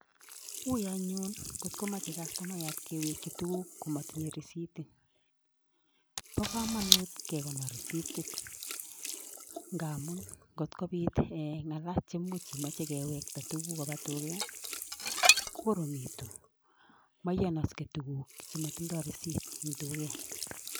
Uui anyun ngit komachei jastomaiyat kewekchi tukuk komatinyei risitit. Bo kamanut kekonor risitit, ngamun ngotkobit ng'ala che much imache kewekta tukuk koba tuket kokoromitu. Maiyanaskei tukuk chematindoi risitit eng tuket